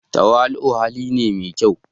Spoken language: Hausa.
Tawali'u hali ne mai kyau.